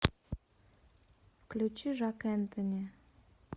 включи жак энтони